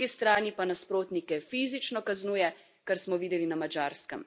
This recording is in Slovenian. Po drugi strani pa nasprotnike fizično kaznuje, kar smo videli na Madžarskem.